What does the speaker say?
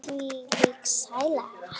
Þvílík sæla.